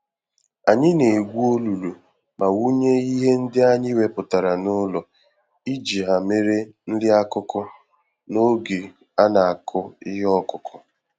Anyị na-egwu olulu ma wụnye ihe ndị anyị wepụtara n'ụlọ iji ha mere nri-akụkụ, n'oge anakụ ihe okụkụ